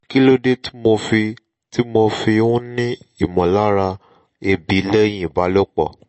kí ló dé tí mo fi tí mo fi ń ní ìmọ̀lára ebi lẹ́yìn ìbálòpọ̀?